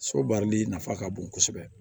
So baarali nafa ka bon kosɛbɛ